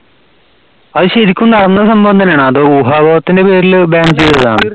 അത് ശരിക്കും നടന്ന സംഭവം തന്നെ ആണോ അതോ ഊഹായപോഹത്തിന്റെ പേരിൽ ban ചെയ്തതാണോ